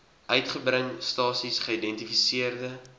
uitgebring stasies geïdentifiseerde